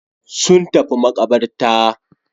Sun tafi maƙabarta.